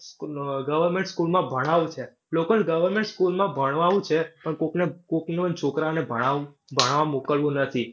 Government school માં ભણાવશે, લોકોને government school માં ભણવાવું છે પણ કોકને, કોકનો છોકરાને ભણાવ ભણાવા મોકલવો નથી.